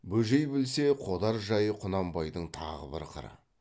бөжей білсе қодар жайы құнанбайдың тағы бір қыры